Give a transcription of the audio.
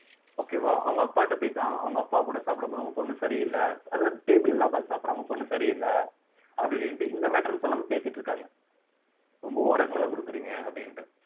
okay வா அவங்க அப்பாகிட்ட போய்தான் அவங்க அப்பா கூட சாப்பிடு போதும் பொண்ணு சரியில்லை அதாவது table ல எல்லாம் உட்கார்ந்து சாப்பிடறாங்க பொண்ணு சரியில்லை அப்படி இப்படின்ட்டு இந்த matter ன்னு சொல்லாம பேசிட்டு இருக்காங்க ரொம்ப over ஆ செல்லம் கொடுக்கறீங்க அப்படின்ட்டு